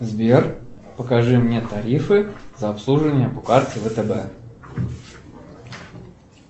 сбер покажи мне тарифы за обслуживание по карте втб